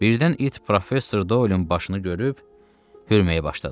Birdən it professor Doylun başını görüb hürməyə başladı.